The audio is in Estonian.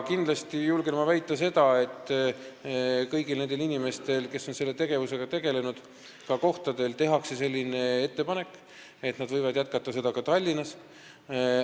Kindlasti julgen ma väita seda, et kõigile inimestele, kes on selle tööga kohapeal tegelenud, tehakse ettepanek, et nad võivad jätkata seda tööd Tallinnas.